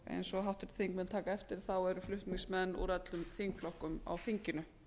eins og háttvirtir þingmenn taka eftir eru flutningsmenn úr öllum þingflokkum á þinginu